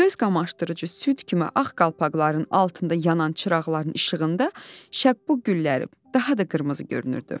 Göz qamaşdırıcı süd kimi ağ qalpaqların altında yanan çıraqların işığında şəbbu gülləri daha da qırmızı görünürdü.